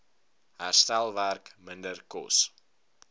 herstelwerk minder kos